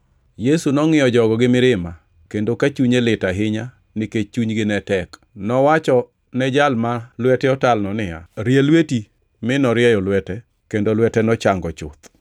Yesu nongʼiyo jogo gi mirima kendo ka chunye lit ahinya nikech chunygi ne tek. Nowacho ni jal ma lwete otalno niya, “Rie lweti,” mi norieyo lwete kendo lwete nochango chuth.